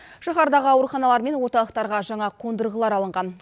шаһардағы ауруханалар мен орталықтарға жаңа қондырғылар алынған